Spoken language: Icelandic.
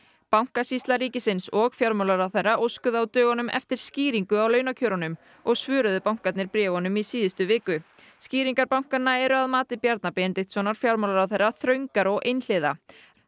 bankasýsla ríkisins og fjármálaráðherra óskuðu á dögunum eftir skýringu á launakjörunum og svöruðu bankarnir bréfunum í síðustu viku skýringar bankanna eru að mati Bjarna Benediktssonar fjármálaráðherra þröngar og einhliða